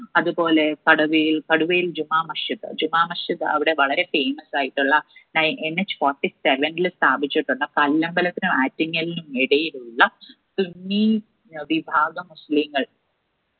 അതുപോലെ കടവിൽ കടുവയിൽ ജുമാ masjid അവിടെ വളരെ famous ആയിട്ടുള്ള നയ NHfourty seven ല് സ്ഥാപിച്ചിട്ടുള്ള കല്ലമ്പലത്തിനും ആറ്റിങ്ങലിനും ഇടയിലുള്ള സുന്നീ അഹ് വിഭാഗം മുസ്ലിങ്ങൾ